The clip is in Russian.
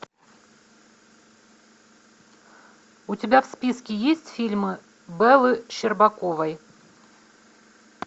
у тебя в списке есть фильмы бэлы щербаковой